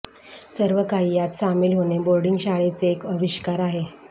सर्वकाही यात सामील होणे बोर्डिंग शाळेचे एक अविष्कार आहे